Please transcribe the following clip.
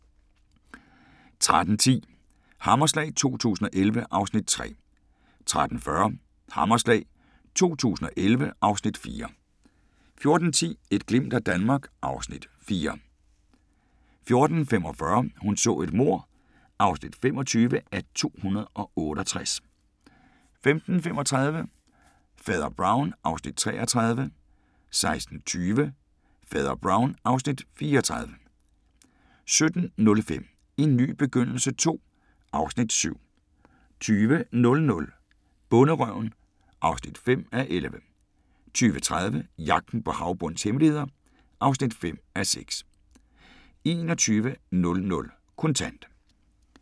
13:10: Hammerslag 2011 (Afs. 3) 13:40: Hammerslag 2011 (Afs. 4) 14:10: Et glimt af Danmark (Afs. 4) 14:45: Hun så et mord (25:268) 15:35: Fader Brown (Afs. 33) 16:20: Fader Brown (Afs. 34) 17:05: En ny begyndelse II (Afs. 7) 20:00: Bonderøven (5:11) 20:30: Jagten på havbundens hemmeligheder (5:6) 21:00: Kontant